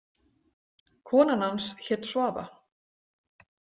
Konan hans hét Svava.